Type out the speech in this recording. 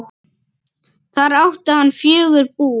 Þar átti hann fjögur bú.